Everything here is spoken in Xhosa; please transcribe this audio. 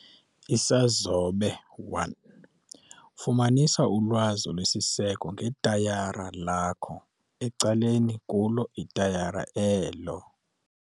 Isazobe 1- Fumanisa ulwazi olusisiseko ngetayara lakho ecaleni kulo itayara elo.